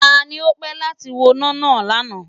Ta ni o pè láti woná náà lánàá?